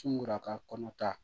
Sunguru a ka kɔnɔ ta